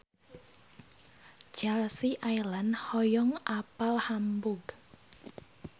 Chelsea Islan hoyong apal Hamburg